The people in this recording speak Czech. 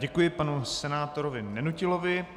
Děkuji panu senátorovi Nenutilovi.